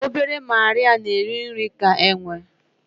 Obere Marịa na-eri nri ka enwe